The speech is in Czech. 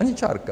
Ani čárka!